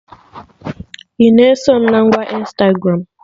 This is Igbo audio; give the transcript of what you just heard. Ị na-eso mụ na ngwa Ịnstagramụ?